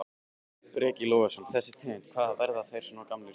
Breki Logason: Þessi tegund, hvað, verða þeir svona gamlir?